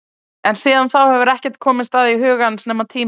En síðan þá hefur ekkert komist að í huga hans nema tíminn.